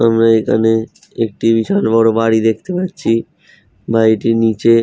আমরা এখানে একটি বিশাল বড় বাড়ি দেখতে পাচ্ছি বাড়িটির নিচে --